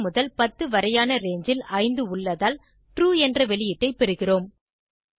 1 முதல் 10 வரையான ரங்கே ல் 5 உள்ளதால் ட்ரூ என்ற வெளியீட்டை பெறுகிறோம்